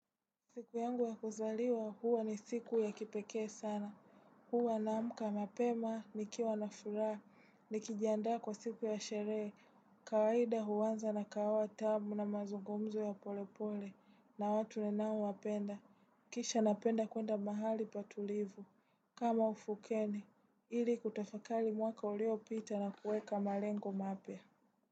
Siku yangu ya kuzaliwa, huwa ni siku ya kipekee sana. Huwa naamka mapema, nikiwa nafuraha, nikijiandaa kwa siku ya sherehe. Kawaida huanza na kahawa tamu na mazungumzo ya polepole, na watu ninao wapenda. Kisha napenda kwenda mahali patulivu. Kama ufukeni, ili kutafakari mwaka uliopita na kueka malengo mapya.